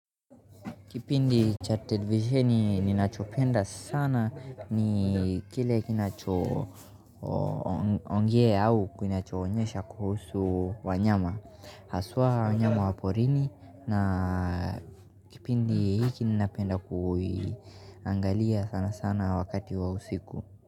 Kipindi cha televisheni ninachopenda sana ni kile kinacho ongea au kunachoonyesha kuhusu wanyama haswa wanyama wa porini na kipindi hiki ninapenda kuangalia sana sana wakati wa usiku.